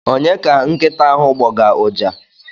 Onye ka nkịta ahụ gbọga ụja?